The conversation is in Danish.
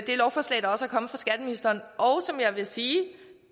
det lovforslag der er kommet fra skatteministeren og som jeg vil sige